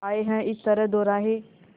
आए हैं इस तरह दोराहे